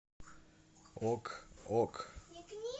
ок ок